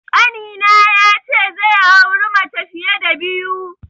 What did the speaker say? Ƙanina ya ce zai auri mace fiye da biyu.